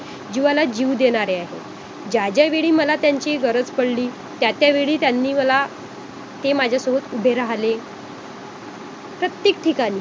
असामाजिक श असामाजिकता sorry समाजिकता असते. ती